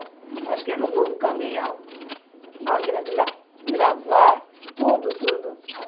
Acho que alugou um caminhão, máquina de lavar, tudo, tudo.